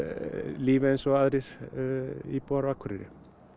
lífi eins og aðrir íbúar á Akureyri